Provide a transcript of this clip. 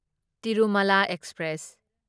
Tirumala express